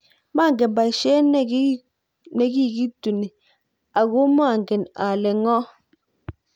manget besiet ne kikituni, aku mangen ale ng'o